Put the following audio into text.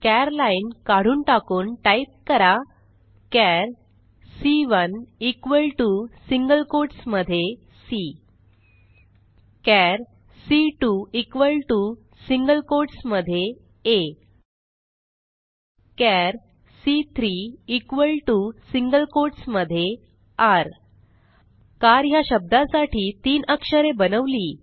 चार लाईन काढून टाकून टाईप करा चार C one equal to single quotes मध्ये सी चार C two equal to single quotes मध्ये आ चार सी3 इक्वॉल टीओ सिंगल कोट्स मध्ये र कार ह्या शब्दासाठी तीन अक्षरे बनवली